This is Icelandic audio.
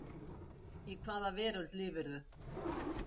Í hvaða veröld lifirðu?